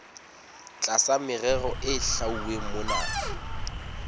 tlasa merero e hlwauweng mona